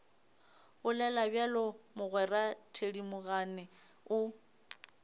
bolela bjalo mogwera thedimogane o